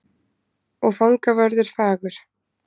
Og fangavörður fagur.